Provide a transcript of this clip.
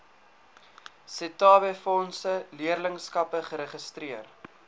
setabefondse leerlingskappe geregistreer